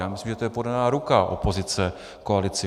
Já myslím, že to je podaná ruka opozice koalici.